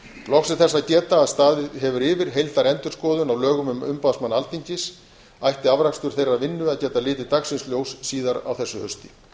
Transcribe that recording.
loks er þess að geta að staðið hefur yfir heildarendurskoðun á lögum um umboðsmann alþingis ætti afrakstur þeirrar vinnu að geta litið dagsins ljós síðar á þessu hausti